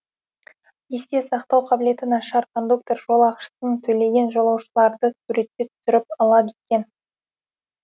есте сақтау қабілеті нашар кондуктор жолақысын төлеген жолаушыларды суретке түсіріп алады екен